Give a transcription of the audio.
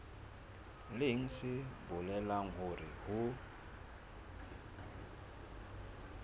leng se bolelang hore ho